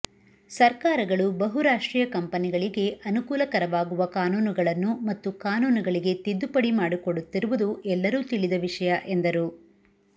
ಸರ್ಕಾರಗಳು ಬಹುರಾಷ್ಟ್ರೀಯ ಕಂಪೆನಿಗಳಿಗೆ ಅನುಕೂಲಕರವಾಗುವ ಕಾನೂನುಗಳನ್ನು ಮತ್ತು ಕಾನೂನುಗಳಿಗೆ ತಿದ್ದುಪಡಿ ಮಾಡಿಕೊಡುತ್ತಿರುವುದು ಎಲ್ಲರೂ ತಿಳಿದ ವಿಷಯ ಎಂದರು